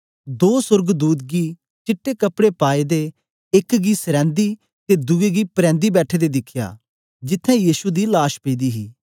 दों सोर्गदूत गी चिट्टे कपड़े पाएदे एक गी सरैदीं ते दुए गी परैदीं बैठे दे दिखया जिथें यीशु दी लाश पेदी ही